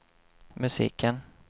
musiken